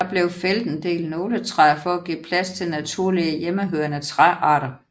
Der er fældet en del nåletræer for at give plads til naturlige hjemmehørende træarter